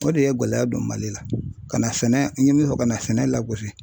O de ye gɛlɛya don Mali la ka na sɛnɛ n ye min fɔ ka na sɛnɛ lagosi.